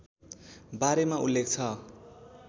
बारेमा उल्लेख छ